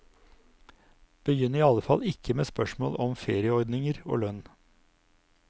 Begynn i alle fall ikke med spørsmål om ferieordninger og lønn.